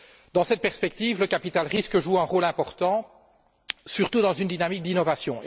Dans cette perspective, le capital risque joue un rôle important, surtout dans une dynamique d'innovation.